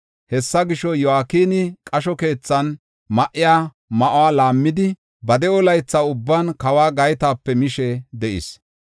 Hessa gisho, Yo7akini qasho keethan ma7iya ma7uwa laammidi, ba de7o laytha ubban kawo gaytape mishe de7is.